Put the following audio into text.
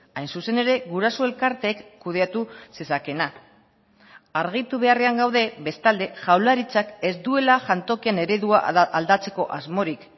hain zuzen ere guraso elkarteek kudeatu zezakeena argitu beharrean gaude bestalde jaurlaritzak ez duela jantokien eredua aldatzeko asmorik